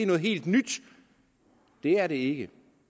noget helt nyt det er det ikke